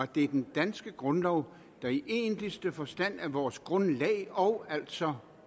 det er den danske grundlov der i egentligste forstand er vores grundlag og altså